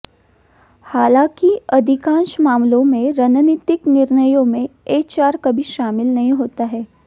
हालांकि अधिकांश मामलों में रणनीतिक निर्णयों में एचआर कभी शामिल नहीं होता है